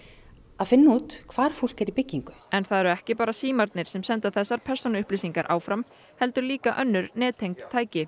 að finna út hvar fólk er í byggingu en það eru ekki bara símarnir sem senda þessar persónuupplýsingar áfram heldur líka önnur nettengd tæki